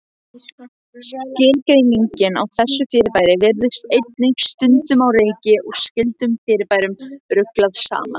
Skilgreiningin á þessu fyrirbæri virðist einnig stundum á reiki og skyldum fyrirbærum ruglað saman.